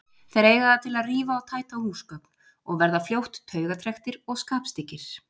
Þeir eiga það til að rífa og tæta húsgögn og verða fljótt taugatrekktir og skapstyggir.